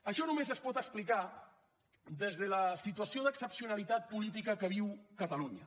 això només es pot explicar des de la situació d’excepcionalitat política que viu catalunya